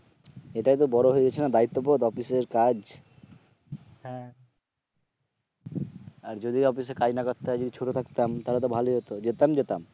এটাই তো বড় হয়ে গেছে না দায়িত্ববোধ অফিস এর কাজ, হ্যাঁ, আর যদি অফিস এ কাজ করতে না হয় যদি ছোট থাকতাম তাহলে তো যেতাম যেতাম